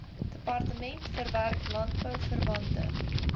departement verwerk landbouverwante